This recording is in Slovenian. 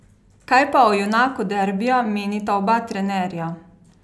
Kaj pa o junaku derbija menita oba trenerja?